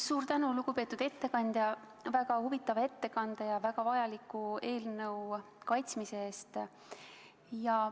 Suur tänu, lugupeetud ettekandja, väga huvitava ettekande ja väga vajaliku eelnõu kaitsmise eest!